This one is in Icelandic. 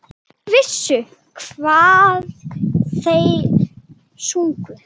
Þeir vissu hvað þeir sungu.